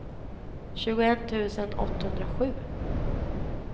tjugoett tusen åttahundrasju